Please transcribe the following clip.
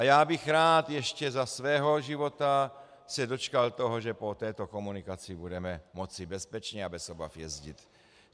A já bych rád ještě za svého života se dočkal toho, že po této komunikaci budeme moci bezpečně a bez obav jezdit.